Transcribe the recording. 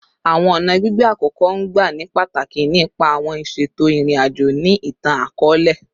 Awọn ọna gbigbe akoko n gba ni pataki ni ipa awọn iṣeto irin-ajo ni itan-akọọlẹ